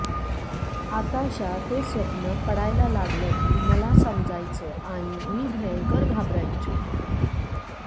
आताशा ते स्वप्न पडायला लागलं कि मला समजायचं आणि मी भयंकर घाबरायचो